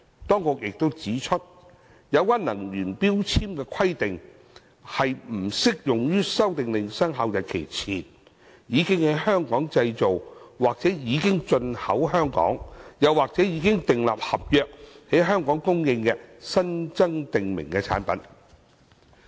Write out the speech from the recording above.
當局亦指出，有關能源標籤的規定，不適用於《修訂令》生效日期前，已經在香港製造或已進口香港，又或者已訂立合約在香港供應的新增訂明產品。